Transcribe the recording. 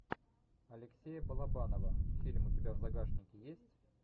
алексея балабанова фильм у тебя в загашнике есть